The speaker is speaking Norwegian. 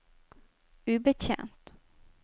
ubetjent